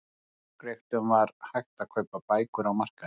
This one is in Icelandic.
Hjá Forngrikkjum var hægt að kaupa bækur á markaði.